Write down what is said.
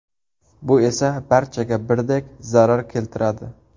Bu esa barchaga birdek zarar keltiradi.